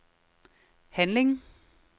handling